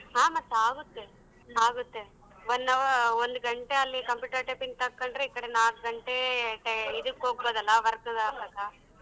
ಹಾ ಮತ್ತಾಗುತ್ತೆ ಆಗುತ್ತೆ one hour ಒಂದ್ ಗಂಟೆ ಅಲ್ಲಿ computer typing ಕಲ್ತ್ಕಂಡ್ರೆ ಈ ಕಡೆ ನಾಕ್ ಗಂಟೆ ಟೈ~ ಇದಕ್ಕ್ ಹೋಗ್ಬೌದಲ್ಲಾ work ಗ್ ಆದಾಗ.